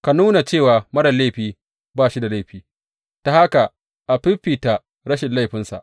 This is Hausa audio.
Ka nuna cewa marar laifi ba shi da laifi, ta haka a fiffita rashin laifinsa.